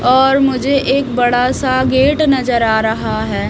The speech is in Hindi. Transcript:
और मुझे एक बड़ा सा गेट नजर आ रहा है।